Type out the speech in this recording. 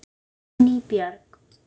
Dagný Björg.